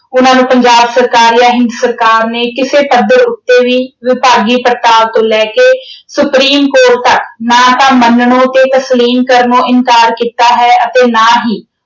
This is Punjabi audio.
ਉਹਨਾਂ ਨੂੰ ਪੰਜਾਬ ਸਰਕਾਰ ਜਾਂ ਹਿੰਦ ਸਰਕਾਰ ਨੇ ਕਿਸੇ ਪੱਧਰ ਉੱਤੇ ਵੀ ਵਿਭਾਗੀ ਪ੍ਰਾਪਤੀ ਲੈ ਕੇ supreme court ਨਾ ਤਾਂ ਮੰਨਣੋਂ ਤੇ ਤਸਲੀਮ ਕਰਨੋਂ ਇਨਕਾਰ ਕੀਤਾ ਹੈ ਅਤੇ ਨਾ ਹੀ